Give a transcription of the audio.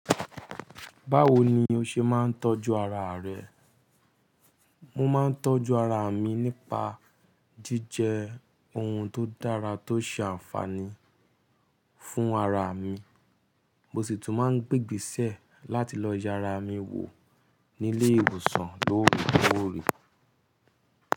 Báwo ni o ṣe máa ń tọ́jú ara rẹ? Mo máa ń tọ́jú ara mi nípa jíjẹ ohun tó dára tó ṣe àǹfààní fún ara mi. Mo sì tún máa ń gbégbísẹ̀ láti lọ yara mi wò nílé ìwòsàn lóòrè koòrè.